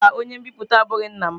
Mba, onye nbipute abụghị nna m.